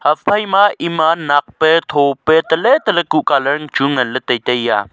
ephai ma ema nak pe thope taley taley ku colour chu nganley tai taiya.